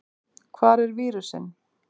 Hvar er vírusinn?